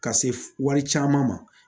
Ka se wari caman ma